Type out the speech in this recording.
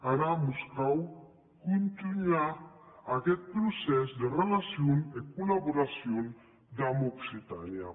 ara mos cau contunhar aguest procès de relacion e collaboracion damb occitània